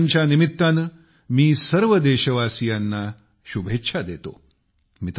या सणांच्या निमित्ताने मी सर्व देशवासियांना शुभेच्छा देतो